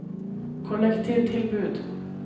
kollektivtilbud